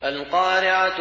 الْقَارِعَةُ